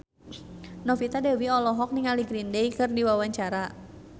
Novita Dewi olohok ningali Green Day keur diwawancara